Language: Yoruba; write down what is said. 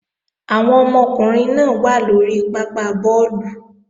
Àwọn ọmọkùnrin náà wà lóri pápá bọ́ọ̀lù